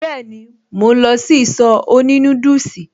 Been, mò ń lọ sí ìsọ̀ òní núdùsì